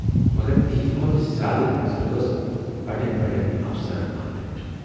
مگر تِہٕندِ کھۅتہٕ زیادٕ نظر ٲس بڈٮ۪ن بڈٮ۪ن افسرن اتھ پٮ۪ٹھ۔